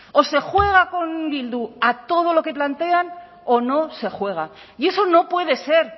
o se juega con bildu a todo lo que plantean o no se juega y eso no puede ser